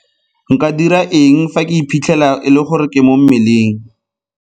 Nka dira eng fa ke iphitlhela e le gore ke mo mmeleng?